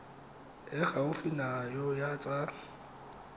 e gaufi nao ya tsa